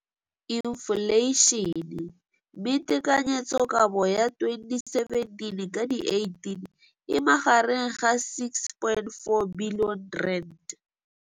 Infleišene, mme tekanyetsokabo ya 2017, 18, e magareng ga R6.4 bilione.